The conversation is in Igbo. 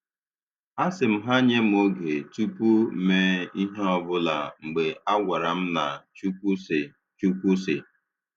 A sị m ha nye m oge tupu mee ihe ọbụla mgbe a gwara m na "Chukwu sị" "Chukwu sị"